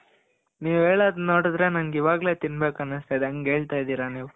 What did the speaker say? ನೀವು ಹೇಳದು ನೋಡಿದ್ರೆ ನನ್ಗೆ ಇವಾಗ್ಲೆ ತಿನ್ಬೇಕು ಅನಸ್ತಾ ಇದೆ. ಹಂಗೆಳ್ತಿರ ನೀವು.